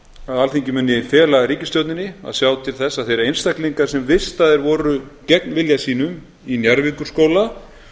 að alþingi muni fela ríkisstjórninni að sjá til þess að þeir einstaklingar sem vistaðir voru gegn vilja sínum í njarðvíkurskóla